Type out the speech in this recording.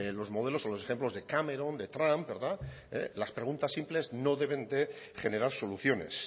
los modelos o los ejemplos de cameron de trump verdad las preguntas simples no deben de generar soluciones